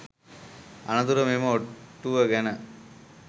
අනතුරුව මෙම ඔට්ටුව ගැන